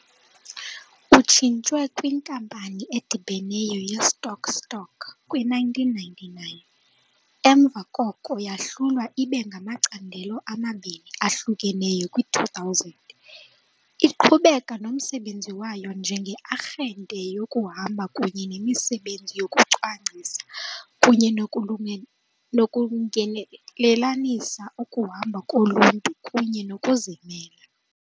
Utshintshwe kwinkampani edibeneyo ye-stock-stock kwi-1999 , emva koko yahlulwa ibe ngamacandelo amabini ahlukeneyo kwi-2000, iqhubeka nomsebenzi wayo njenge-arhente yokuhamba kunye nemisebenzi yokucwangcisa kunye nokulungelelanisa ukuhamba koluntu kunye nokuzimela.